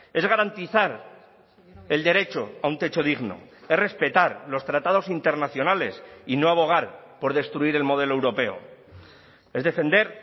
es garantizar el derecho a un techo digno es respetar los tratados internacionales y no abogar por destruir el modelo europeo es defender